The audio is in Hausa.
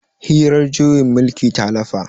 hirar juyin mulkin ta lafa